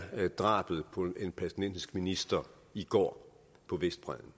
drabet på en palæstinensisk minister i går på vestbredden